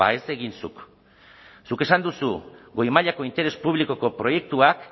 ez egin zuk zuk esan duzu goi mailako interes publikoko proiektuak